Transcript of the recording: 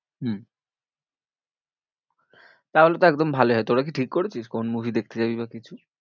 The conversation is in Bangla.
হম তাহলে তো একদম ভালোই হয়, তোরা কি ঠিক করেছিস, কোন movie দেখতে যাবি বা কিছু।